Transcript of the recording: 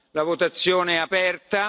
La votazione è aperta.